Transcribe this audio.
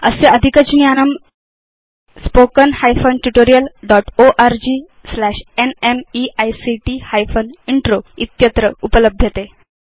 अस्य अधिकज्ञानम् httpspoken tutorialorgNMEICT Intro इत्यत्र उपलभ्यते